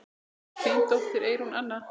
Þín dóttir, Eyrún Anna.